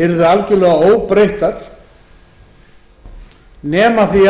yrðu algjörlega óbreytt nema því